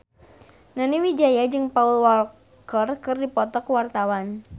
Nani Wijaya jeung Paul Walker keur dipoto ku wartawan